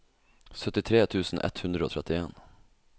syttitre tusen ett hundre og trettien